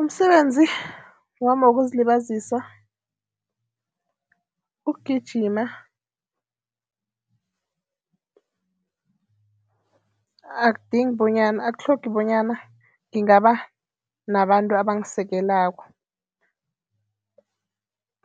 Umsebenzi wami wokuzilibazisa ukugijima akudingi bonyana akutlhogi bonyana ngingaba nabantu abangisekelako